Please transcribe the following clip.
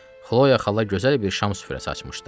Xloya xala gözəl bir şam süfrəsi açmışdı.